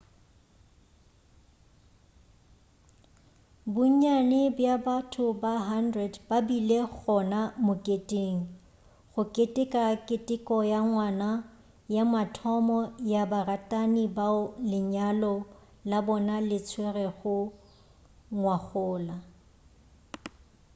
bonnyane bja batho ba 100 ba bile gona moketeng go keteka keteko ya ngwaga ya mathomo ya baratani bao lenyalo la bona le tswerwego ngwagola